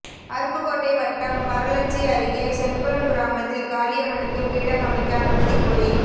அருப்புக்கோட்டை வட்டம் பரளச்சி அருகே செங்குளம் கிராமத்தில் காளியம்மனுக்கு பீடம் அமைக்க அனுமதி கோரி